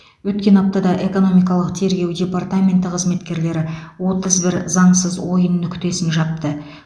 өткен аптада экономикалық тергеу департаменті қызметкерлері отыз бір заңсыз ойын нүктесін жапты